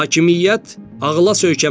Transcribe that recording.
Hakimiyyət ağıla söykənməlidir.